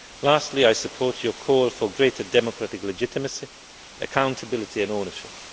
Lastly, I support your call for greater democratic legitimacy, accountability and ownership.